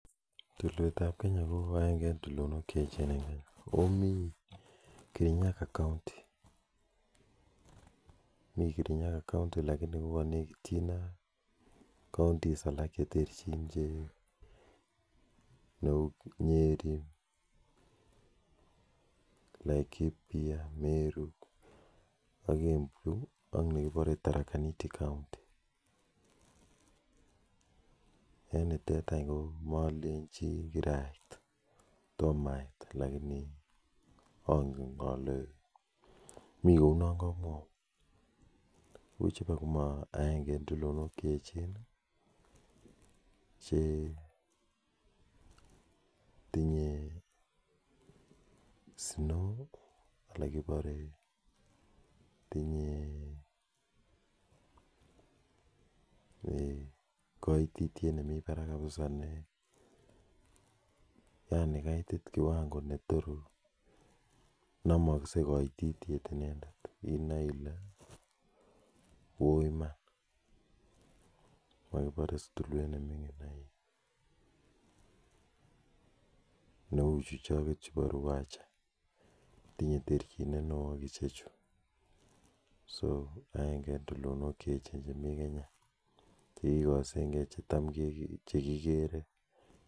Tulweet ap kenyaa komiteii kirinyaga county ako manakitychiin ak kimasweek alak cheuu meru, laikipia tomaa aiit lakinii angeen alee mikounan kamwauun tindaii koitityeet nepo parak missing namaksei kaitityet nepo kwanguut tinyee terchineet neoo agengee eng tulwet ap kenya chekikaseen gee